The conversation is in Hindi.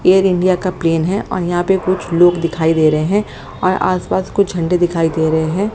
एयर इंडिया का प्लेन है और यहां पे कुछ लोग दिखाई दे रहे हैं और आस पास कुछ झंडे दिखाई दे रहे हैं।